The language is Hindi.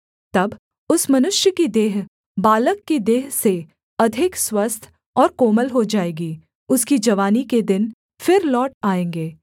तब उस मनुष्य की देह बालक की देह से अधिक स्वस्थ और कोमल हो जाएगी उसकी जवानी के दिन फिर लौट आएँगे